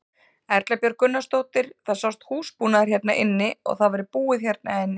Erla Björg Gunnarsdóttir: Það sást húsbúnaður hérna inni að það væri búið hérna inni?